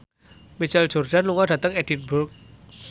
Michael Jordan lunga dhateng Edinburgh